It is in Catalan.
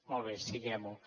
molt bé siguem ho